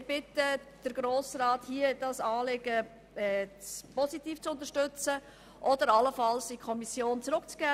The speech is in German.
Wir bitten den Grossen Rat, dieses Anliegen positiv zu unterstützen oder es allenfalls in die Kommission zurückzugeben.